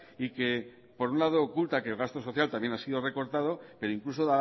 y que por un lado oculta que el gasto social también ha sido recortado pero incluso